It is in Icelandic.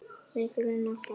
Mig grunar það.